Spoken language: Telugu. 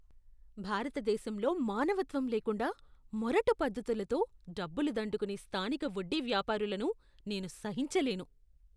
భారతదేశంలో మానవత్వం లేకుండా మొరటు పద్ధతులతో డబ్బులు దండుకునే స్థానిక వడ్డీ వ్యాపారులను నేను సహించలేను.